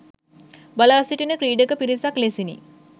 බලා සිටින ක්‍රීඩක පිරිසක් ලෙසිනි.